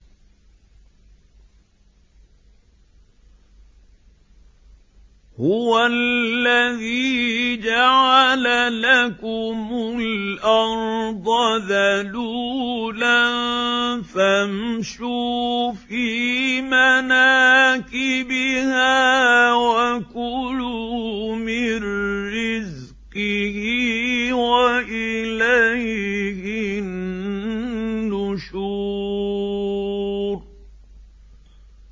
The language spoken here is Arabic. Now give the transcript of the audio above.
هُوَ الَّذِي جَعَلَ لَكُمُ الْأَرْضَ ذَلُولًا فَامْشُوا فِي مَنَاكِبِهَا وَكُلُوا مِن رِّزْقِهِ ۖ وَإِلَيْهِ النُّشُورُ